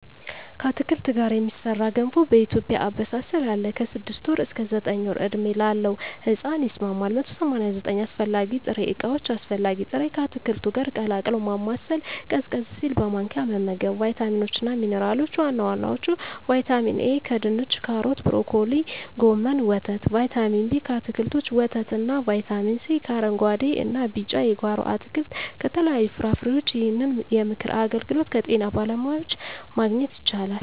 ከአትክልት ጋር የሚሠራ ገንፎ በኢትዮጵያ አበሳሰል አለ። ከ6 ወር እስከ 9 ወር ዕድሜ ላለው ሕጻን ይስማማል። 189 አስፈላጊ ጥሬ ዕቃዎች አስፈላጊ ጥሬ...፣ ከአትክልቱ ጋር ቀላቅሎ ማማሰል፣ ቀዝቀዝ ሲል በማንኪያ መመገብ። , ቫይታሚኖች እና ሚንራሎች(ዋና ዋናዎቹ) ✔️ ቫይታሚን ኤ: ከድንች ካሮት ብሮኮሊ ጎመን ወተት ✔️ ቫይታሚን ቢ: ከአትክልቶች ወተት እና ✔️ ቫይታሚን ሲ: ከአረንጉአዴ እና ቢጫ የጓሮ አትክልት ከተለያዩ ፍራፍሬዎች ይህንን የምክር አገልግሎት ከጤና ባለሙያዎች ማግኘት ይቻላል።